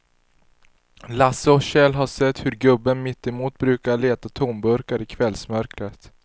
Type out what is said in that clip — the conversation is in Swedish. Lasse och Kjell har sett hur gubben mittemot brukar leta tomburkar i kvällsmörkret.